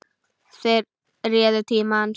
Þeir réðu tíma hans.